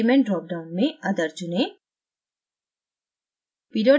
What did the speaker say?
element drop down में other चुनें